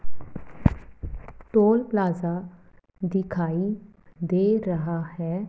Toll plaza दिखाई दे रहा है।